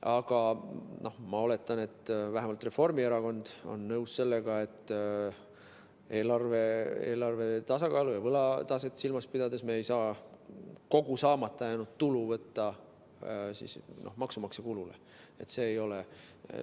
Aga ma oletan, et vähemalt Reformierakond on nõus, et eelarve tasakaalu ja võlataset silmas pidades ei saa me kogu saamata jäänud tulu võtta maksumaksja arvele.